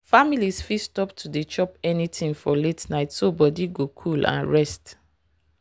families fit stop to dey chop anything for late night so body go cool and rest.